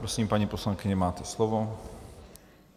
Prosím, paní poslankyně, máte slovo.